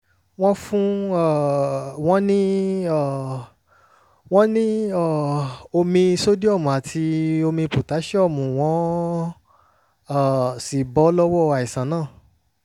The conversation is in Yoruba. wọ́n fún um wọn ní um wọn ní um omi sódíọ́mù àti pòtáṣíọ́mù wọ́n um sì bọ́ lọ́wọ́ àìsàn náà